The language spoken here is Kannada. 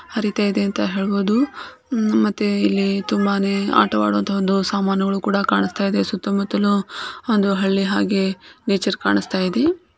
ಹರಿತಾಇದೆ ಅಂತ ಹೇಳಬಹುದು ಹಾಗೆ ಇಲ್ಲಿ ತುಂಬಾನೇ ಆಟ ಆಡುವಂತ ವಸ್ತುಗಳು ಕಾನ್ತ ಇವೆ ಸುತ್ತ ಮುತಲು ಒಂದು ಹಳ್ಳಿ ಹಾಗೆ ನೇಚರ್ ಕಣಸ್ತಾಇದೆ .